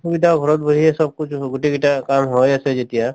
সুবিধা ঘৰত বহিয়ে sab couch অ গোটেই কিটা কাম হৈ আছে যেতিয়া